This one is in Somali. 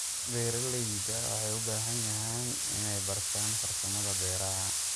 Beeralayda waxay u baahan yihiin inay bartaan farsamada beeraha.